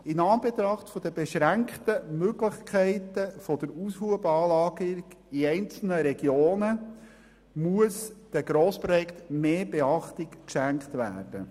In Anbetracht der beschränkten Möglichkeiten der Aushubanlagen in einzelnen Regionen muss den Grossprojekten mehr Beachtung geschenkt werden.